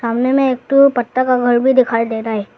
सामने में एक ठो पत्ता का घर भी दिखाई देता है।